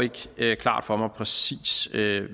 ikke klart for mig præcis